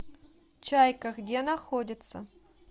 чайка где находится